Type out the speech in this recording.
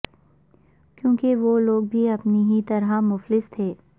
کیونکہ وہ لوگ بھی اپنی ہی طرح مفلس تھے